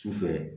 Sufɛ